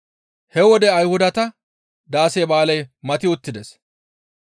He wode Ayhudata daase ba7aaley mati uttides.